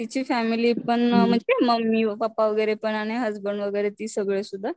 तिची फॅमिलीपण म्हणजे मम्मी पप्पा वगैरेपण आणि हसबेंड वगैरे ते सगळे सुद्धा